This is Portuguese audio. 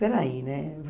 Espera aí, né?